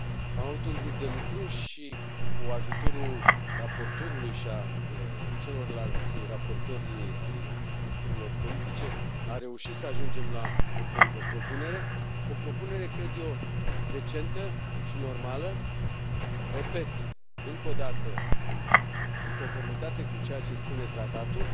Am avut un grup de lucru și, cu ajutorul raportorului și al celorlalți raportori ai grupurilor politice, am reușit să ajungem la o propunere, cred eu, decentă și normală repet încă o dată, în conformitate cu ceea ce spune tratatul